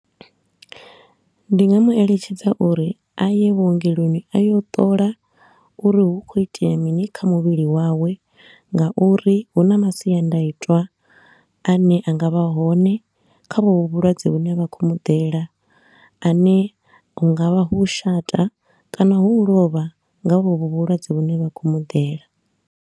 Ndi nga mu eletshedza uri a ye vhuongeloni a yo ṱola uri hu kho itea mini kha muvhili wawe nga uri hu na masiandaitwa a ne a nga vha hone kha vho vhu vhulwadze vhu ne vha khou mu ḓela ane hu nga vha hu u shata kana hu u lovha nga vho vhu vhulwadze vhu ne vha khou mu ḓela.